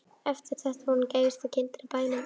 Eftir þetta var hún gæfasta kindin á bænum.